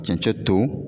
Cɛncɛn to